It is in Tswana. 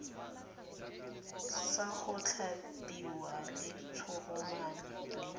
sa go tlhabelwa letshoroma le